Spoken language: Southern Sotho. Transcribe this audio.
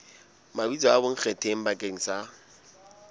mabitso a bonkgetheng bakeng sa